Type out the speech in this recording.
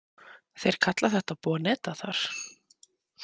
Þeir kalla þetta boneta þar